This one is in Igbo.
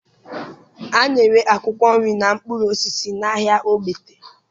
A na-ere akwụkwọ nri na mkpụrụ osisi n'ahịa Ogbete